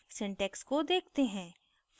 syntax को देखते हैं